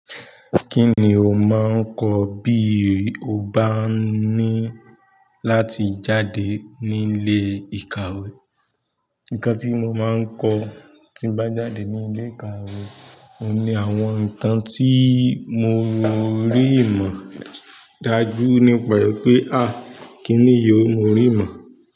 Kí ni o máa ń kọ bí o bá ní láti jáde níle ìkàwé? Nǹkan tí mo máa ń kọ́ tí n bá jáde nílé ìkàwé ni àwọn nǹkan tí mo rí mọ̀ dájú nípa pé, "à, kíni yí o mo rí ìmọ̀?"